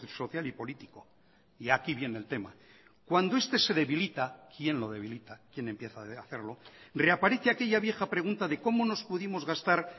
social y político y aquí viene el tema cuando este se debilita quién lo debilita quién empieza a hacerlo reaparece aquella vieja pregunta de cómo nos pudimos gastar